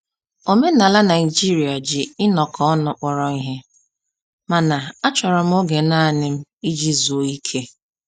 Omenala Naijiria ji inọkọ ọnụ kpọrọ ihe, mana a chọrọ m oge nanị m iji zụọ ike